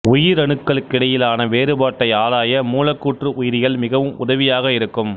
உயிரணுக்களுக்கிடையிலான வேறுபாட்டை ஆராய மூலக்கூற்று உயிரியல் மிகவும் உதவியாக இருக்கும்